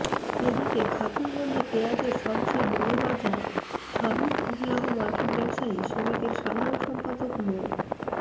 এদিকে খাতুনগঞ্জে পেঁয়াজের সবচেয়ে বড় বাজার হামিদউল্লাহ মার্কেট ব্যবসায়ী সমিতির সাধারণ সম্পাদক মো